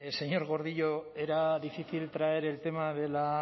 señor gordillo era difícil traer el tema de la